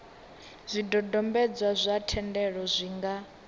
zwidodombedzwa zwa thendelo zwi nga